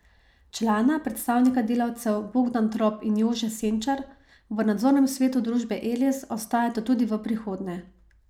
Člana, predstavnika delavcev, Bogdan Trop in Jože Senčar, v nadzornem svetu družbe Eles ostajata tudi v prihodnje.